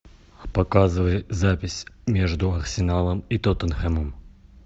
показывай запись между арсеналом и тоттенхэмом